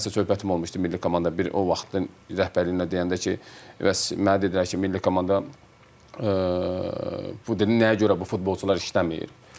Milli komandaya bir o vaxtın rəhbərliyinə deyəndə ki, bəs mənə dedilər ki, milli komanda bu dedi nəyə görə bu futbolçular işləmir?